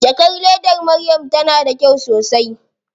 Jakar ledar Maryam tana da kyau sosai.